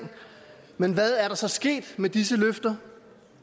men hvad er der så sket med disse løfter